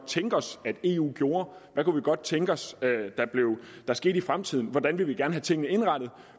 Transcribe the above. tænke os at eu gjorde hvad vi godt kunne tænke os der skete i fremtiden og hvordan vi gerne ville have tingene indrettet